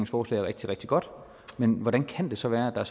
forslag er rigtig rigtig godt men hvordan kan det så være at der